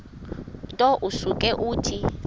nto usuke uthi